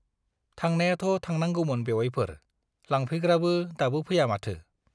थांनायाथ' थांनांगौमोन बेउवाइफोर, लांफैग्राफ्रानो दाबो फैया माथो?